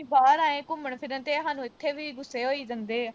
ਘੁੰਮਣ-ਫਿਰਨ ਤੇ ਇਹ ਸਾਨੂੰ ਇਥੇ ਵੀ ਗੁੱਸੇ ਹੋਈ ਜਾਂਦੇ ਵਾ।